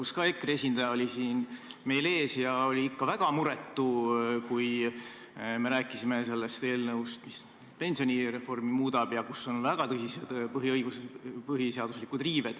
Selgi puhul EKRE esindaja oli siin meie ees ja oli ikka väga muretu, kui jutt oli pensionireformist, mis riivab väga tõsiselt põhiseadust.